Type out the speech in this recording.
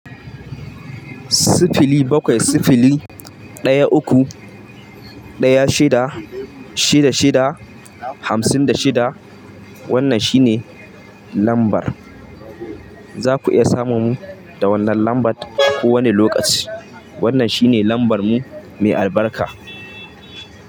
Sifili bakwai, sifili ɗaya uku, ɗaya shida, shida shida, hamsin da shida. Wannan shine lambar. Za ku iya samun mu da wannan lambar a kowane lokaci. Wannan shine lambar mu mai albarka.